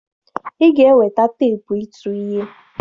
Ị ga-eweta teepụ ịtụ ihe!